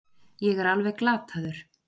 Ég er alveg glataður.